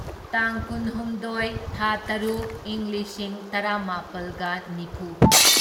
ꯇꯥꯡ ꯀꯨꯟꯍꯨꯝꯗꯣꯢ ꯊꯥ ꯇꯔꯨꯛ ꯢꯪ ꯂꯤꯁꯤꯡ ꯇꯔꯥꯃꯥꯄꯜꯒ ꯅꯤꯐꯨ